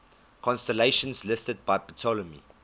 constellations listed by ptolemy